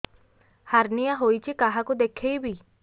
hernia ହୋଇଛି କାହାକୁ ଦେଖେଇବି